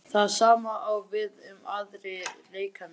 Það sama á við um aðra leikmenn?